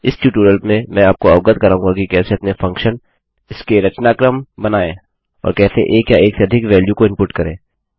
इस ट्यूटोरियल में मैं आपको अवगत कराऊँगा कि कैसे अपने फंक्शन इसके रचनाक्रम बनाएँऔर कैसे एक या एक से अधिक वेल्यूमानोंको इनपुट करें